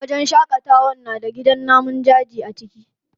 Wajen shaƙatawa na da gidan namun daji a ciki.